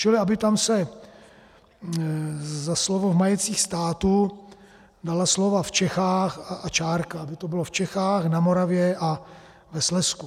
Čili aby se tam za slovo "v majetcích státu" dala slova "v Čechách" a čárka, aby to bylo "v Čechách, na Moravě a ve Slezsku".